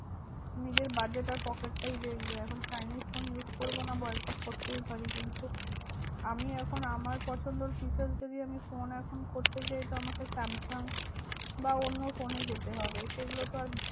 নিজের budget আর pocket টাই দেখবে। এখন chinese ফোন use করবো না boycott করতেই পারি। কিন্তু আমি এখন আমার পছন্দর features যদি ফোন এখন করতে চাই তো আমাকে স্যামসাঙ বা অন্য ফোনেই যেতে হবে। সেগুলো তো আর